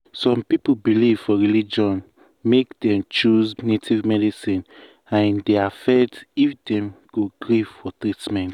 some people belief for religion make dem choose native medicine and e dey affect if dem go gree for treatment.